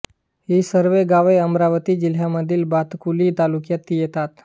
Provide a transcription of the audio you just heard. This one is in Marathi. ही सर्व गावे अमरावती जिल्ह्यातील भातकुली तालुक्यात येतात